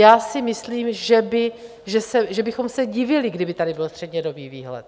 Já si myslím, že bychom se divili, kdyby tady byl střednědobý výhled.